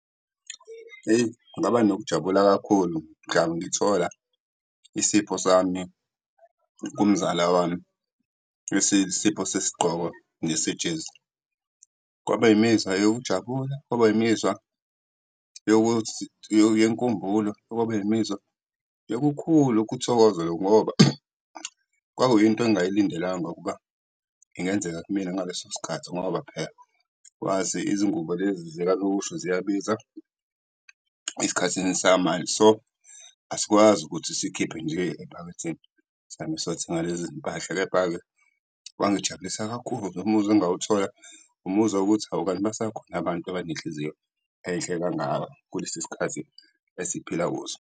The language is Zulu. Hheyi, ngaba nokujabula kakhulu mdla ngithola isipho sami kumzala wami esiyisipho sesigqoko nesejezi. Kwaba imizwa yokujabula, kwaba imizwa yenkumbulo, kwaba imizwa yokukhulu ukuthokoza lokhu ngoba kwakuyinto engingayilindelanga ukuba ingenzeka kimina ngaleso sikhathi ngoba phela wazi izingubo lezi zikanokusho ziyabiza esikhathini samanje. So, asikwazi ukuthi sikhiphe nje ephaketheni sihambe sothenga lezizimpahla. Kepha-ke kwangijabulisa kakhulu, umuzwa engawuthola umuzwa wokuthi hawu, kanti basakhona abantu abanenhliziyo enhle kangaka kulesi sikhathi esiphila kuso.